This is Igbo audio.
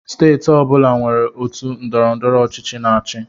Steeti ọ bụla nwere otu ndọrọndọrọ ọchịchị na-achị.